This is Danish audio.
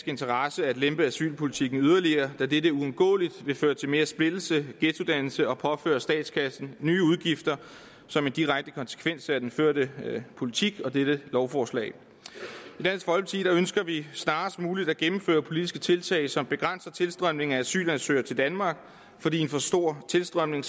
interesse at lempe asylpolitikken yderligere da dette uundgåeligt vil føre til mere splittelse ghettodannelse og påføre statskassen nye udgifter som en direkte konsekvens af den førte politik og dette lovforslag i ønsker vi snarest muligt at gennemføre politiske tiltag som begrænser tilstrømningen af asylansøgere til danmark fordi en for stor tilstrømning